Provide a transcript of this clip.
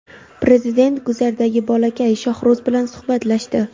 prezident guzardagi bolakay Shohruz bilan suhbatlashdi.